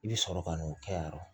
I bɛ sɔrɔ ka n'o kɛ yan yɔrɔ